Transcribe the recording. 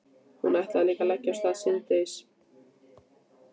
Hún ætlaði líka að leggja af stað síðdegis.